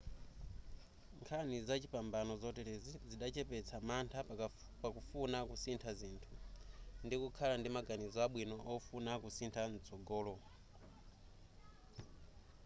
nkhani zachipambano zoterezi zidachepetsa mantha pakufuna kusintha zinthu ndikukhala ndi maganizo abwino ofuna kusintha mtsogolo